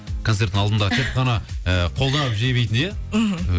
концерттің алдында тек қана ы қолдап жебейтін ия мхм